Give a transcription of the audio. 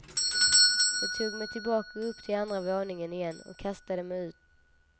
Jag tog mig tillbaka upp till andra våningen igen och kastade mig ut.